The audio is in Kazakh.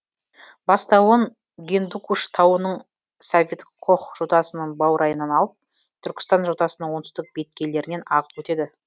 бастауын гиндукуш тауының сафедкох жотасының баурайынан алып түркістан жотасының оңтүстік беткейлерінен ағып өтеді